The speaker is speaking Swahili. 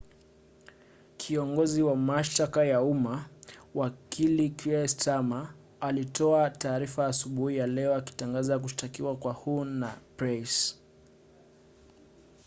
kiongozi wa mashtaka ya umma wakili kier starmer alitoa taarifa asubuhi ya leo akitangaza kushtakiwa kwa huhne na pryce